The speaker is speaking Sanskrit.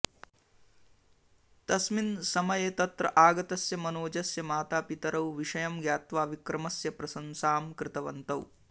तस्मिन् समये तत्र आगतः मनोजस्य मातपितरौ विषयं ज्ञात्वा विक्रमस्य प्रशंसा कृतवन्तौ